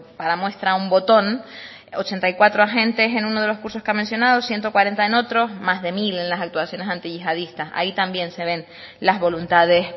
para muestra un botón ochenta y cuatro agentes en uno de los cursos que ha mencionado ciento cuarenta en otro más de mil en las actuaciones antiyihadistas ahí también se ven las voluntades